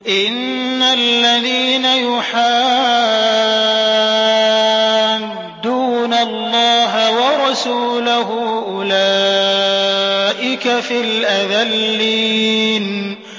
إِنَّ الَّذِينَ يُحَادُّونَ اللَّهَ وَرَسُولَهُ أُولَٰئِكَ فِي الْأَذَلِّينَ